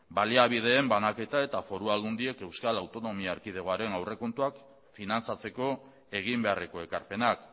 baliabideen banaketa eta foru aldundiek euskal autonomia erkidegoaren aurrekontuak finantzatzeko egin beharreko ekarpenak